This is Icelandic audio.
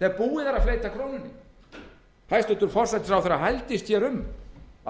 þegar búið er að fleyta krónunni hæstvirtur forsætisráðherra hældist hér um